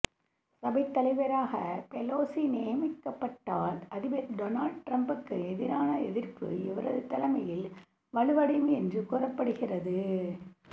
சபைத் தலைவராக பெலோசி நியமிக்கப்பட்டால் அதிபர் டோனல்ட் டிரம்ப்புக்கு எதிரான எதிர்ப்பு இவரது தலைமையில் வலுவடையும் என்று கூறப்படு கிறது